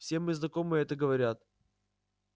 все мои знакомые это говорят